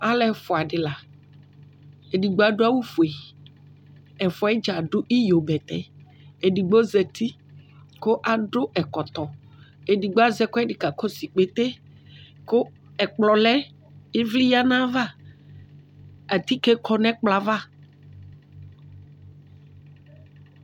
alʋɛfua di la edigbo adʋ awʋ fʋɛ ɛfʋa gya adʋ iyobɛtɛ ɛdigbo zɛti kʋ adʋ ɛkɔtɔ ɛdigbo azɛ ɛkʋɛdi ka kɔsʋ ikpɛtɛ kʋ ɛkplɔ lɛ ivli ya nava atikɛ kɔ nʋ ɛkplɔ aɣa